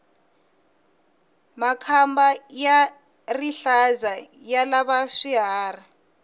makamba ya rihlaza ya lava hi swiharhi